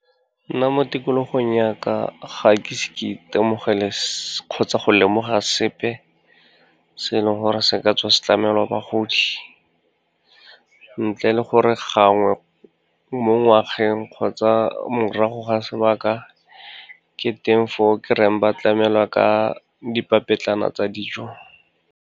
Nna mo tikologong ya ka, ga ke ise ke itemogele kgotsa go lemoga sepe se e leng gore se ka tswa se tlamelwa bagodi, ntle le gore gangwe mo ngwageng kgotsa morago ga sebaka, ke teng foo ke reng ba tlamelwa ka dipapetlana tsa dijo.